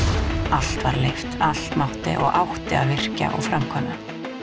allt var leyft allt mátt og átti að virkja og framkvæma